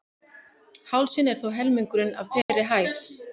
Hálsinn er þó helmingurinn af þeirri hæð.